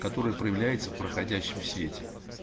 которая проявляется в проходящем свете